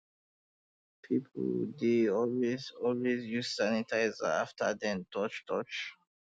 people dey always always use sanitizer after dem don touch touch